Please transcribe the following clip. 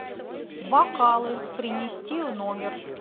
бокалы принести в номер